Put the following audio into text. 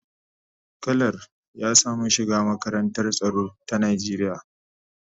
Kalar ya samu shiga makarantar tsaro ta Najeriya.